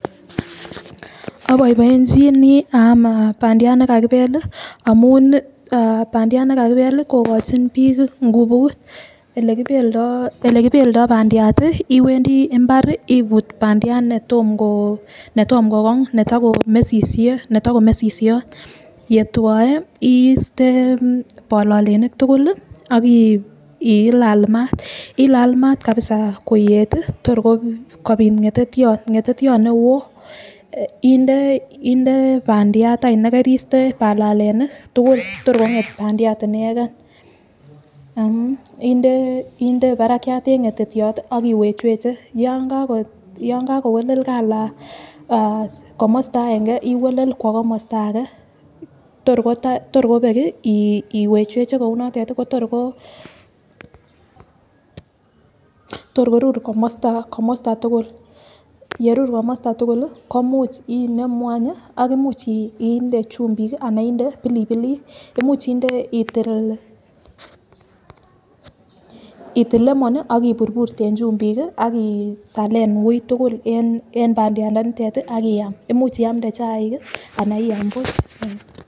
Abaibaenchini bandiat nekakibek amun bandiat nekakibek kokachin bik ngubut olekibeldo bandiat iwendii imbar ibut bandiat netomo ko gong netakomesisiot yewae site balalenik tugul akilalal mat kabisa koyet Kotor kobit ngetetiot newon akinde bandiat nekariste balalenik tugul Kotor konget bandiat inegen inde Barak en ngetetiot akiwechweche yangagowelel calait komosta agenge iwelel Kowa kamasta age torkobek iwechweche Kou notet kotorgorur kamasta tugul yerur komasta tugul komuch inemu akomuch inde chumbik anan inde pilipilik imuche itil lemon akiburburte en chumbik akisalen woi tugul en bandiat nitet Akiyam akomuch iyamde chaik anan iyam buch